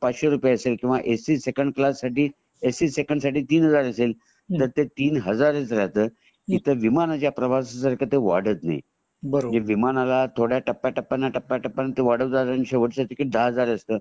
पाचशे रुपये असेल किंवा ए सी सेकंड क्लास साठी एसी सेकंड साठी तीन हजार असेल ते तीन हजारच राहत तर विमानाच्या प्रवास सारख ते वाढत नाही म्हणजे विमानला थोड्या थोड्या टप्प्यानंतर टप्प्या टप्या नंतर ते वाढत वाढत जाता आणि नंतर शेवटच्या वेळी टिकिट दहा हजार असत